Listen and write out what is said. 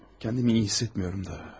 Özümü yaxşı hiss etmirəm də.